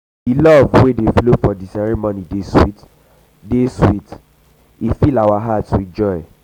di love wey dey flow for di ceremony dey sweet fill our heart with joy.